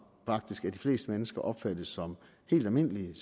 faktisk af de fleste mennesker opfattes som helt almindelige